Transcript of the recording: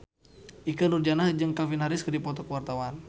Ikke Nurjanah jeung Calvin Harris keur dipoto ku wartawan